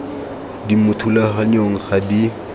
di mo thulaganyong ga di